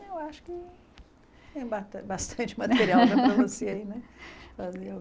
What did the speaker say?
Eu acho que tem bastan bastante material para você aí, né?